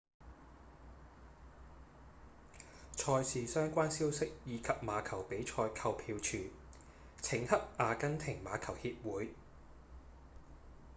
賽事相關消息以及馬球比賽購票處請洽阿根廷馬球協會